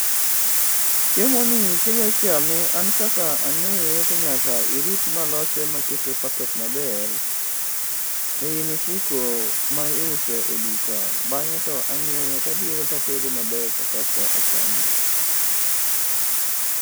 Chiemo ni kidwa chame an kaka ang'eye to nyaka irit malose makete e packet maber, ei mfuku ma iuso e duka bang'e to ang'iewe tabiro tadete maber to kasto achame